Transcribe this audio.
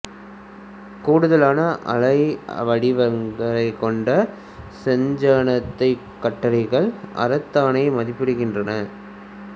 கூடுதலான அலைவடிவங்களைக் கொண்ட செஞ்சந்தனக் கட்டைகள் அ தரத்தினவாக மதிப்பிடப்படுகின்றன